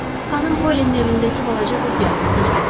Xanım Polinin evindəki balaca qız gəlib, anacan.